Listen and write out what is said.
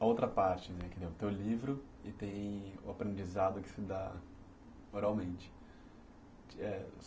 A outra parte, né, que tem o seu livro e tem o aprendizado que se dá oralmente, é